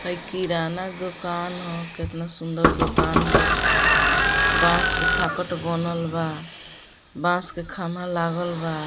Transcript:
हाई किराना दूकान ह केतना सुंदर दूकान बा बांस के फाटक बनल बा बांस के खम्भा लागल बा।